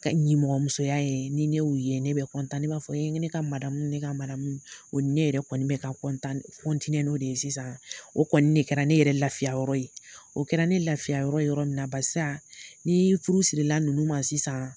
Ka ɲɛmɔgɔmusoya ye ni ne y' ye ne bɛ kɔntan ne b'a fɔ ye ne ka maradamu ne ka maramu o ne yɛrɛ kɔni bɛt'o de ye sisan o kɔni ne kɛra ne yɛrɛ lafiya ye o kɛra ne lafiya yɔrɔ yɔrɔ min na basi ni furu sirila ninnu ma sisan